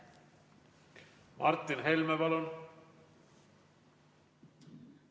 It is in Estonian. Martin Helme, palun!